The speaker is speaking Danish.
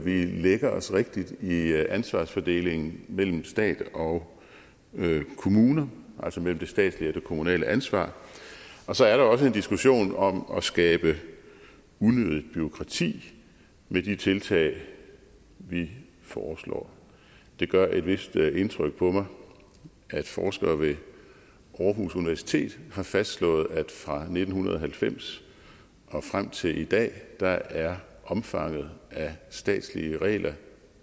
lægger også rigtigt i ansvarsfordelingen mellem stat og kommune altså mellem det statslige og det kommunale ansvar og så er der også en diskussion om at skabe unødigt bureaukrati med de tiltag vi foreslår det gør et vist indtryk på mig at forskere ved aarhus universitet har fastslået at fra nitten halvfems og frem til i dag er er omfanget af statslige regler